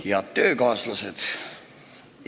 Head töökaaslased!